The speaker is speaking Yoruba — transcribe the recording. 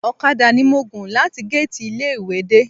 Ọ̀kadà ni mo gùn láti géètì ilé ìwé dé